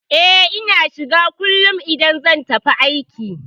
E, Ina shiga kullum idan zan tafi aiki.